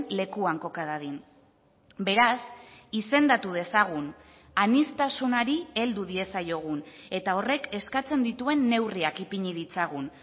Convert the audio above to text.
lekuan koka dadin beraz izendatu dezagun aniztasunari heldu diezaiogun eta horrek eskatzen dituen neurriak ipini ditzagun